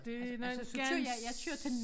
Det noget ganske